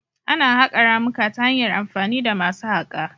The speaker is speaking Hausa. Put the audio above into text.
Ana haƙa ramuka ta hanyar amfani da masu haƙa